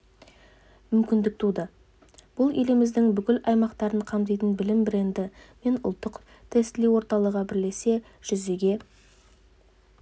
мүмкіндік туды бұл еліміздің бүкіл аймақтарын қамтитын білім бренді мен ұлттық тестілеу орталығы бірлесе жүзеге